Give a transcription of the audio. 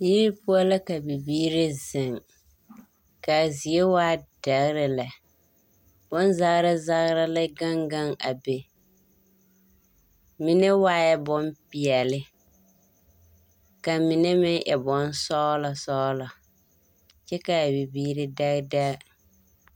Ee… poɔ la ka bibiiri zeŋ ka a zie e dɛgre lɛ, bonzagra zagra la gaŋ gaŋ a be, mine waa la bompeɛle, ka mine e bonsɔglɔ, kyɛ ka abibiiri dɛge dɛge.